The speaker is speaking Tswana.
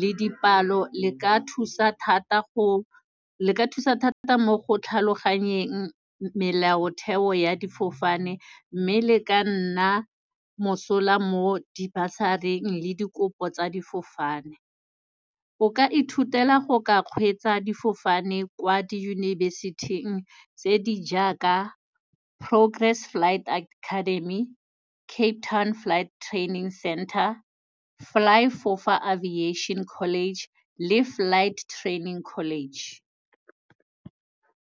le dipalo, le ka thusa thata go, le ka thusa thata mo go tlhaloganyegang melaotheo ya difofane, mme le ka nna mosola mo di-bursary-ing le dikopo tsa difofane. O ka ithutela go ka kgweetsa difofane kwa diyunibesithing tse di jaaka Progress Flight Academy, Cape Town Flight Training Center, FlyFofa Aviation College le Flight Training College.